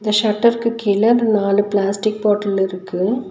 இந்த ஷட்டருக்கு கீழ நாலு பிளாஸ்டிக் பாட்டல் இருக்கு.